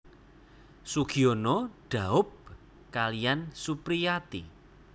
Sugiyono dhaup kaliyan Supriyati